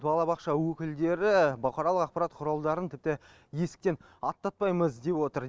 балабақша өкілдері бұқаралық ақпарат құралдарын тіпті есіктен аттатпаймыз деп отыр